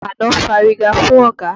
Àkànó fárígá fún ọ̀gá.